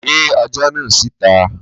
Gbé ajá náà síta.